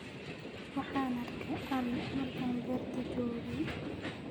Waxan aarkey ari marka berta joogey.